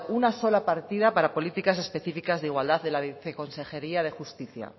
una sola partida para políticas específicas de igualdad de la viceconsejería de justicia